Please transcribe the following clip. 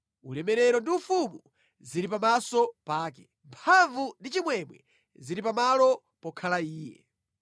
Ulemerero ndi ufumu zili pamaso pake; mphamvu ndi chimwemwe zili pa malo pokhala Iye.